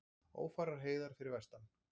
Ófærar heiðar fyrir vestan